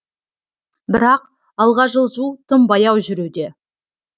бірақ алға жылжу тым баяу жүруде